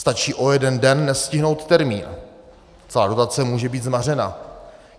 Stačí o jeden den nestihnout termín, celá dotace může být zmařena.